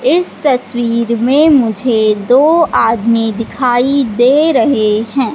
इस तस्वीर में मुझे दो आदमी दिखाई दे रहे हैं।